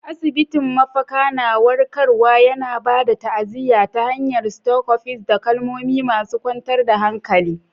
Asibitin, mafaka na warkarwa, yana ba da ta'aziyya ta hanyar stethoscopes da kalmomi masu kwantar da hankali.